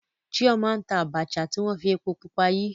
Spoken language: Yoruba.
Chioma n ta Abacha ti wọn fi epo pupa yi.